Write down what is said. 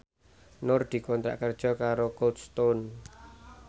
Nur dikontrak kerja karo Cold Stone